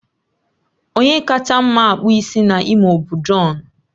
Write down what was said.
Onye kacha mma akpụ isi na Imo bụ John